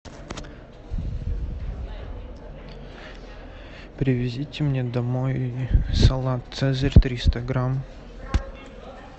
привезите мне домой салат цезарь триста грамм